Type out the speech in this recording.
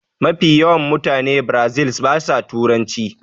Mafi yawan mutane biirazil ba sa turanci